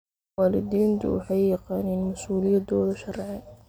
Waalidiintu waxay yaqaaniin mas'uuliyadooda sharci.